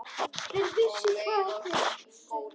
Þeir vissu hvað þeir sungu.